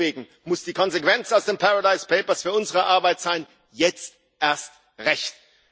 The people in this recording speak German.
Deswegen muss die Konsequenz aus den Paradise Papers für unsere Arbeit sein jetzt erst recht!